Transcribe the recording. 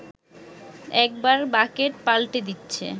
একবার বাকেট পাল্টে দিচ্ছে